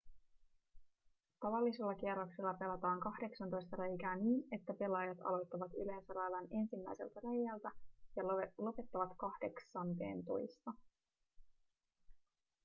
tavallisella kierroksella pelataan kahdeksantoista reikää niin että pelaajat aloittavat yleensä radan ensimmäiseltä reiältä ja lopettavat kahdeksanteentoista